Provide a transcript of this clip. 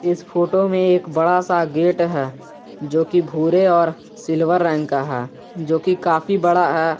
इस फोटो में एक बड़ा सा गेट है जो कि भूरे और सिल्वर रंग का है जो कि काफी बड़ा है।